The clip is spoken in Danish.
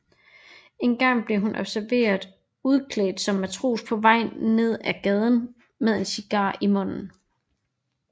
En gang blev hun observeret udklædt som matros på vej nedad gaden med en cigar i munden